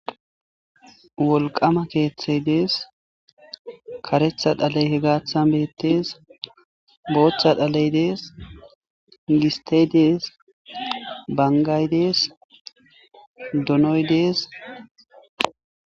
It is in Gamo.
wolqama keeththey dees karetha dhaley hegaththan beettees boothcha dhaley dees gistedees bangaydees donoydees